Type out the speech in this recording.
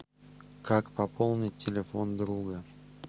как пополнить телефон друга